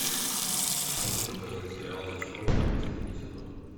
можешь показать сериал зачарованные последний сезон